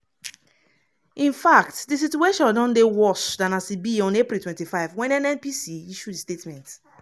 in fact di situation don dey worse dan as e be on april 25 wen nnpc issue di statement.